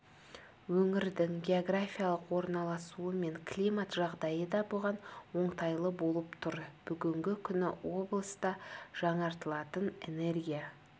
өңірдің географиялық орналасуы мен климат жағдайы да бұған оңтайлы болып тұр бүгінгі күні облыста жаңартылатын энергия